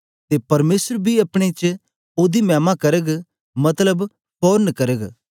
ते परमेसर बी अपने च ओदी मैमा करग मतलब फोरन करग